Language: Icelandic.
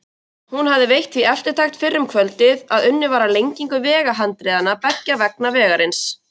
Einey, viltu hoppa með mér?